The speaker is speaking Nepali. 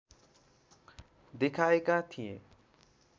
देखाएका थिए